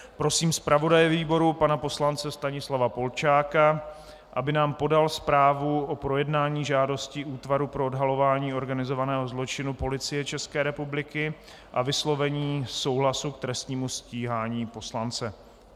Prosím zpravodaje výboru pana poslance Stanislava Polčáka, aby nám podal zprávu o projednání žádosti Útvaru pro odhalování organizovaného zločinu Policie České republiky o vyslovení souhlasu k trestnímu stíhání poslance.